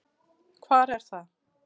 Hvar er það?